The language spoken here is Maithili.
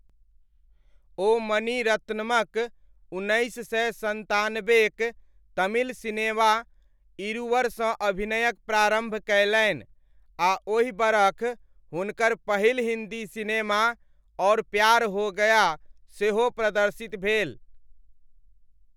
ओ मणि रत्नमक उन्नैस सए सन्तानबेक तमिल सिनेमा 'इरुवर'सँ अभिनयक आरम्भ कयलनि आ ओहि बरख हुनकर पहिल हिन्दी सिनेमा 'और प्यार हो गया' सेहो प्रदर्शित भेल।